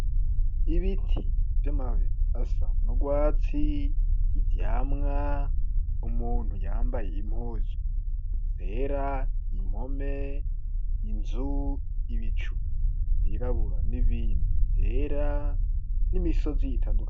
Ibiti vy'amababi asa nurwatsi ivyamwa umuntu yambaye impuzu zera impome inzu ibicu vyirabura n'ibindi yera n'imisozi itandukanye.